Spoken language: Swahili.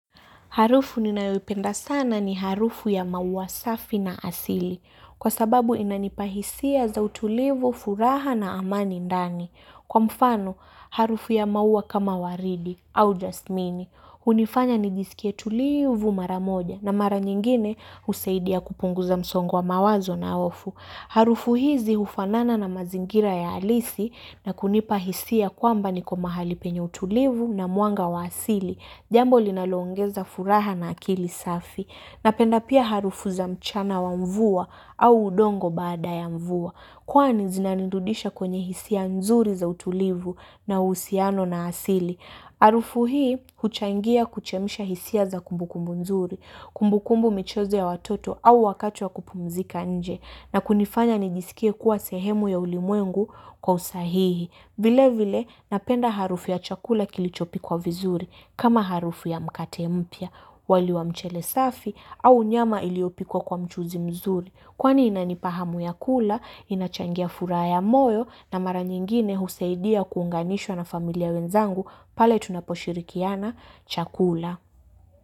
Harufu ninayopenda sana ni harufu ya maua safi na asili. Kwa sababu inanipahisia za utulivu, furaha na amani ndani. Kwa mfano, harufu ya maua kama waridi au just mini. Unifanya nijisikia tulivu mara moja na mara nyingine usaidia kupungu za msongo wa mawazo na hofu. Harufu hizi ufanana na mazingira ya halisi na kunipahisia kwamba ni ko mahali penye utulivu na mwanga wa asili. Jambo linaloongeza furaha na akili safi. Napenda pia harufu za mchana wa mvua au udongo baada ya mvua. Kwa ni zina nirudisha kwenye hisia nzuri za utulivu na usiano na asili. Harufu hii huchangia kuchemsha hisia za kumbukumbu nzuri, kumbukumbu michezo ya watoto au wakati wa kupumzika nje na kunifanya nijiskie kuwa sehemu ya ulimwengu kwa usahihi. Vile vile napenda harufu ya chakula kilichopi kwa vizuri kama harufu ya mkate mpia, wali wa mchelesafi au nyama iliopikwa mchuzi mzuri. Kwani inanipahamu ya kula, inachangia furaha moyo na mara nyingine husaidia kuunganishwa na familia wenzangu pale tunaposhirikiana chakula.